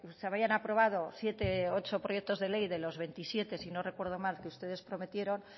se habían aprobado siete ocho proyecto de ley de los veintisiete si no recuerdo mal que ustedes prometieron